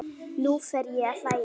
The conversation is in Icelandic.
Nú fer ég að hlæja.